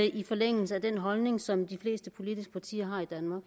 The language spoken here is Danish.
i forlængelse af den holdning som de fleste politiske partier har her i danmark